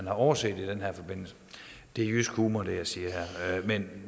har overset i den her forbindelse det er jysk humor hvad jeg siger her men